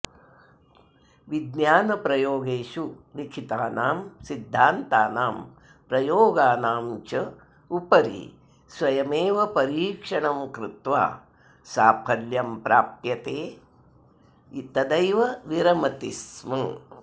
विज्ञानप्रयोगेषु लिखितानां सिद्धान्तानां प्रयोगानां च उपरि स्वयमेव परीक्षणं कृत्वा साफल्यं प्राप्यते तदैव विरमति स्म